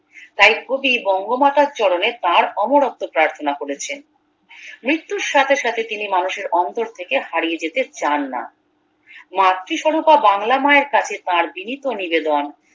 তাই কবি বঙ্গমাতার চরণে তার অমরত্ব প্রার্থনা করেছেন মৃত্যুর সাথে সাথে তিনি মানুষের অন্তর থেকে হারিয়ে যেতে চান না মাতৃ স্বরূপা বাংলা মায়ের কাছের তার বিনীত নিবেদন